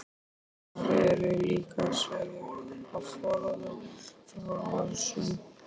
Íkonar eru líka sagðir hafa forðað frá árásum.